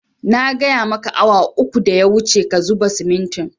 Na gaya maka awa uku da ya wuce ka zuba simintin